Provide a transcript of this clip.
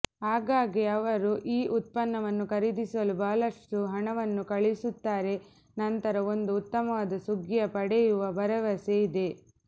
ಆಗಾಗ್ಗೆ ಅವರು ಈ ಉತ್ಪನ್ನವನ್ನು ಖರೀದಿಸಲು ಬಹಳಷ್ಟು ಹಣವನ್ನು ಕಳುಹಿಸುತ್ತಾರೆ ನಂತರ ಒಂದು ಉತ್ತಮವಾದ ಸುಗ್ಗಿಯ ಪಡೆಯುವ ಭರವಸೆ ಇದೆ